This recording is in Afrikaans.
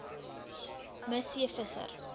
me c visser